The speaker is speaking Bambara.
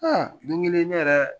don kelen ne yɛrɛ